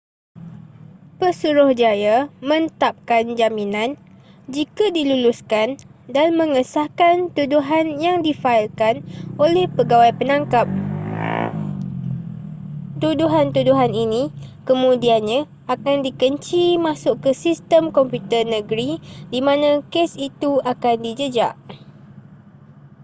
pesuruhjaya mentapkan jaminan jika diluluskan dan mengesahkan tuduhan yang difaikan oleh pegawai penangkap tuduhan-tuduhan ini kemudiannya akan dikenci masuk ke sistem komputer negeri di mana kes itu akan dijejak